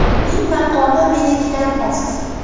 Uning maqomi menikidan past”.